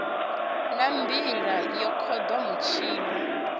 na mbila yo kundwa mutshila